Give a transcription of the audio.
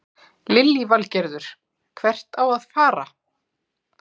Lillý Valgerður: Hvert á að fara?